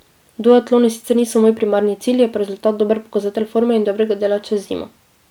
Duatloni sicer niso moj primarni cilj, je pa rezultat dober pokazatelj forme in dobrega dela čez zimo.